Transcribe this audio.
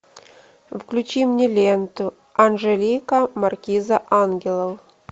включи мне ленту анжелика маркиза ангелов